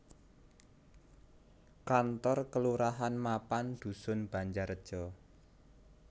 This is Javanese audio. Kantor Kalurahan mapan dusun Banjarejo